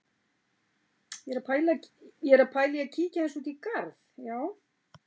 Ég er að pæla í að kíkja aðeins út í garð, já.